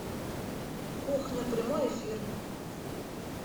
кухня прямой эфир